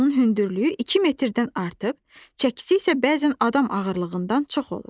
Onun hündürlüyü 2 metrdən artıq, çəkisi isə bəzən adam ağırlığından çox olur.